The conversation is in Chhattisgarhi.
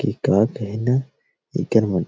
की का कहना इकर मन